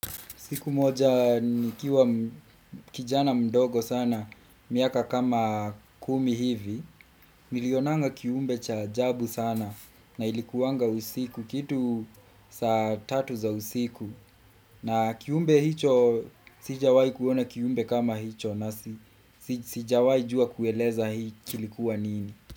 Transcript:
Siku moja nikiwa kijana mdogo sana, miaka kama kumi hivi, nilionanga kiumbe cha ajabu sana na ilikuwanga usiku kitu saa tatu za usiku. Na kiumbe hicho sijawahi kuona kiumbe kama hicho nasi, sijawahi jua kueleza hii kilikuwa nini.